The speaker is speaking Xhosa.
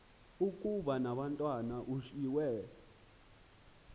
ukuba umatwana ushiywe